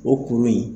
O kuru in